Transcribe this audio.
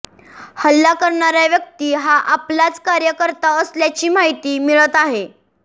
हल्ला करणारा व्यक्ती हा आपचाच कार्यकर्ता असल्याची माहिती मिळत आहे